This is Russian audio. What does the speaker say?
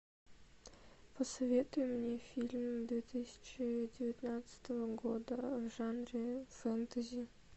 посоветуй мне фильм две тысячи девятнадцатого года в жанре фэнтези